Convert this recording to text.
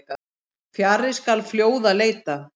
Fjarri skal fljóða leita.